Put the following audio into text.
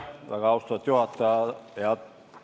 Väga austatud juhataja!